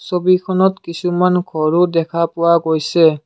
ছবিখনত কিছুমান ঘৰো দেখা পোৱা গৈছে।